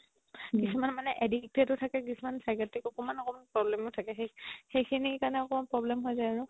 কিছুমান মানে addicted ও থাকে কিছুমান psychiatric অকোমান অকোমান problem ও থাকে সেইখিনিৰ কাৰণে অকমাণ problem হয় যাই আৰু